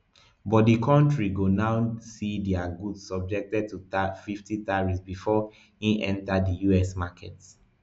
but di kontri go now see dia goods subjected to fifty tariffs bifor e enta di us market